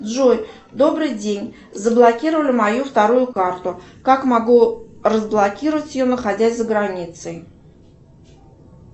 джой добрый день заблокировали мою вторую карту как могу разблокировать ее находясь за границей